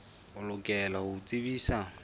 o lokela ho o tsebisa